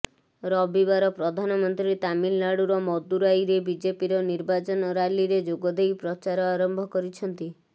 ରବିବାର ପ୍ରଧାନମନ୍ତ୍ରୀ ତାମିଲନାଡୁର ମଦୁରାଇରେ ବିଜେପିର ନିର୍ବାଚନ ରାଲିରେ ଯୋଗ ଦେଇ ପ୍ରଚାର ଆରମ୍ଭ କରିଛନ୍ତି